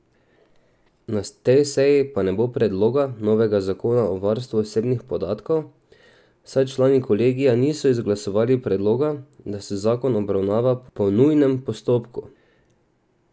Na tej seji pa ne bo predloga novega zakona o varstvu osebnih podatkov, saj člani kolegija niso izglasovali predloga, da se zakon obravnava po nujnem postopku.